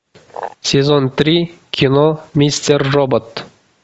сезон три кино мистер робот